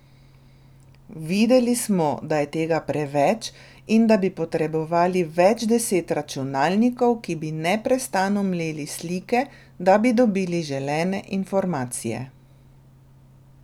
Videli smo, da je tega preveč in da bi potrebovali več deset računalnikov, ki bi neprestano mleli slike, da bi dobili želene informacije.